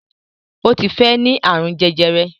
Ó ti fẹ́ ní àrùn jẹjẹrẹ